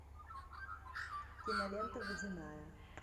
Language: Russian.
кинолента водяная